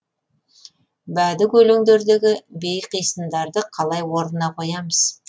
бәдік өлеңдердегі бейқисындарды қалай орнына қоямыз